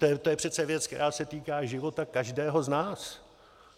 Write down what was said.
To je přece věc, která se týká života každého z nás.